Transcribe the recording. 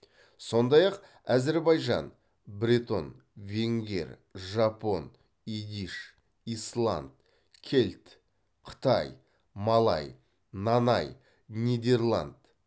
сондай ақ әзербайжан бретон венгер жапон идиш исланд кельт қытай малай нанай нидерланд